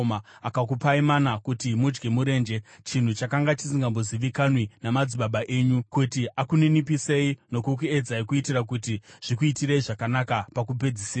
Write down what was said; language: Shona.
Akakupai mana kuti mudye murenje, chinhu chakanga chisingambozivikanwi namadzibaba enyu, kuti akuninipisei nokukuedzai kuitira kuti zvikuitirei zvakanaka pakupedzisira.